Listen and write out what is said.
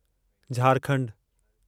झारखंडु